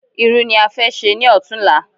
Irú ni a fẹ ṣe ní ọ̀túnla